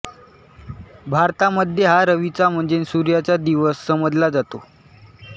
भारतामध्ये हा रविचा म्हणजे सूर्याचा दिवस समजला जातो